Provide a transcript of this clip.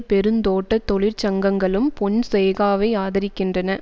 பெருந்தோட்ட தொழிற்சங்கங்களும் பொன்சேகாவை ஆதரிக்கின்றன